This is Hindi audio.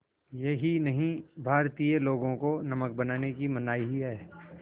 यही नहीं भारतीय लोगों को नमक बनाने की मनाही है